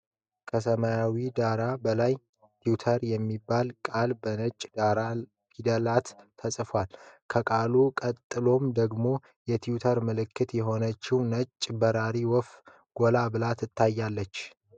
ከሰማያዊ ዳራ በላይ "twitter" የሚለው ቃል በነጭ ደማቅ ፊደላት ተጽፏል። ከቃሉ ቀጥሎ ደግሞ የትዊተር ምልክት የሆነችው ነጭ በራሪ ወፍ ጎላ ብላ ትታያለች።